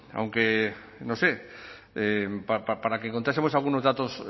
aunque no sé para qué contásemos algunos datos